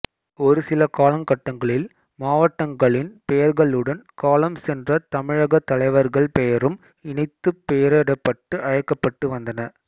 ஒரு சில காலகட்டங்களில் மாவட்டங்களின் பெயர்களுடன் காலம் சென்ற தமிழக தலைவர்கள் பெயரும் இணைத்துப் பெயரிடப்பட்டு அழைக்கப்பட்டு வந்தன